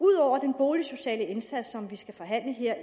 ud over den boligsociale indsats som vi skal forhandle her